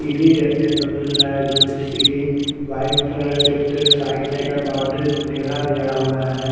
सीढ़ी देखने को मिल रहा है जो की सीढ़ी वाइट कलर से इसके साइड साइड अंदर बाउंड्री सुनेरा गया है।